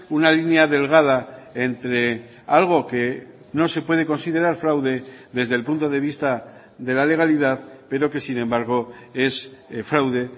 una línea delgada entre algo que no se puede considerar fraude desde el punto de vista de la legalidad pero que sin embargo es fraude